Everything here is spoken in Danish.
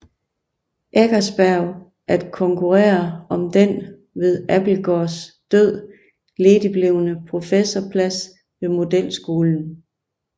Eckersberg at konkurrere om den ved Abildgaards død ledigblevne professorplads ved modelskolen